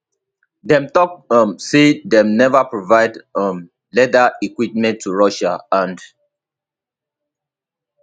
dem tok um say dem neva provide um lethal equipment to russia and